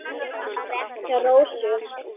Það var rétt hjá Rósu.